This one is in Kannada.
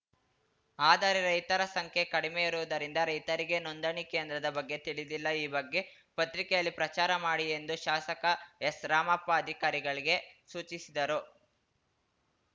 ಆದರೆ ರೈತರ ಸಂಖ್ಯೆ ಕಡಿಮೆ ಇರುವುದರಿಂದ ರೈತರಿಗೆ ನೋಂದಣಿ ಕೇಂದ್ರದ ಬಗ್ಗೆ ತಿಳಿದಿಲ್ಲ ಈ ಬಗ್ಗೆ ಪತ್ರಿಕೆಯಲ್ಲಿ ಪ್ರಚಾರ ಮಾಡಿ ಎಂದು ಶಾಸಕ ಎಸ್‌ರಾಮಪ್ಪ ಅಧಿಕಾರಿಗಳಿಗೆ ಸೂಚಿಸಿದರು